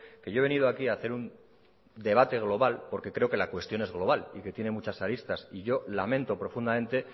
que yo he venido a aquí a hacer un debate global porque creo que la cuestión es global y que tiene muchas aristas yo lamento profundamente